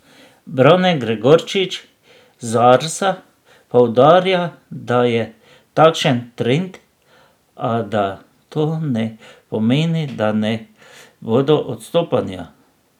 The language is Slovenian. Brane Gregorčič z Arsa poudarja, da je takšen trend, a da to ne pomeni, da ne bodo odstopanja.